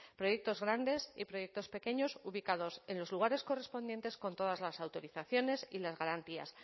proyectos grandes y proyectos pequeños ubicados en los lugares correspondientes con todas las autorizaciones y las garantías